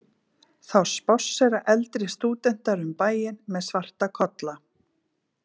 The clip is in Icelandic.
Þá spássera eldri stúdentar um bæinn með svarta kolla.